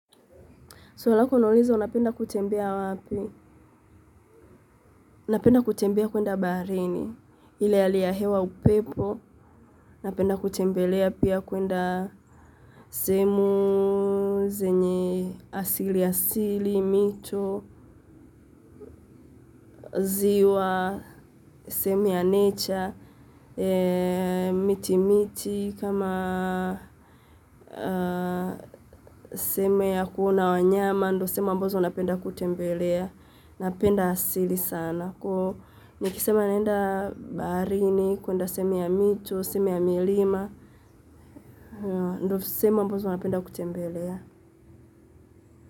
Swali lako unaliza unapenda kutembea wapi? Ninapenda kutembea kwenda baharini. Ile hali ya hewa upepo. Napenda kutembelea pia kwenda sehemu, zenye asili asili, mito, ziwa, sehemu ya nature, miti miti, kama sehemu ya kuona wanyama, ndio sehemu ambazo napenda kutembelea. Napenda asili sana kwa hiyo nikisema naenda baharini, kwenda sehemu ya mito sehemu ya milima ndio sehemu ambazo napenda kutembelea.